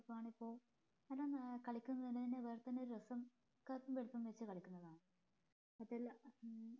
ആണിപ്പോ കളിക്കുന്നതിന് വേറെ തന്നെ ഒരു രസം കറുപ്പും വെറുപ്പും വെച്ച് കളിക്കുന്നതാണ് അതില്ല ഉം